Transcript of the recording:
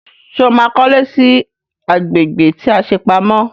Sọ ma kọ́lé sí agbègbè tí a ṣe pamọ́?